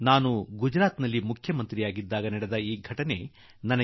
ಆ ವರ್ಷ ಬಂದ ಲಕ್ಷಾಂತರ ಪಾದಯಾತ್ರಿಗಳಿಗೆ ಲಕ್ಷಗಟ್ಟಲೆ ಗಿಡಗಳನ್ನು ವಿತರಿಸಲಾಯಿತು